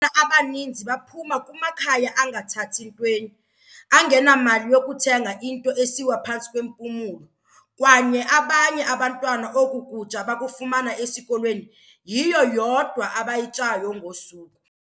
"Abaninzi baphuma kumakhaya angathathi ntweni, angenamali yokuthenga into esiwa phantsi kwempumlo, kwaye abanye abantwana oku kutya bakufumana esikolweni, yiyo yodwa abayityayo ngosuku."